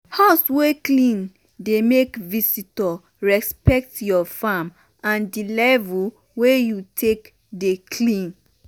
house wey clean dey make visitor respect your farm and di level wey you take dey clean.